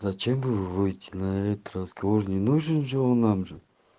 зачем выйти на этот разговор не нужен же он нам же